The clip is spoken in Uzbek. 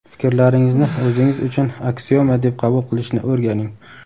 Fikrlaringizni o‘zingiz uchun aksioma deb qabul qilishni o‘rganing.